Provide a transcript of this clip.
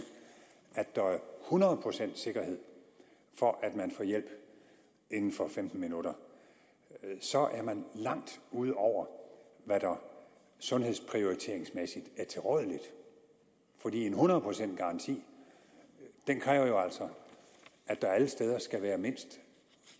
at der er hundrede procents sikkerhed for at man får hjælp inden for femten minutter er man langt ud over hvad der sundhedsprioriteringsmæssigt er tilrådeligt for en hundrede procents garanti kræver altså at der alle steder skal være mindst